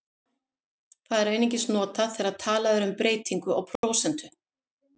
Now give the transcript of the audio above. Það er einungis notað þegar talað er um breytingu á prósentu.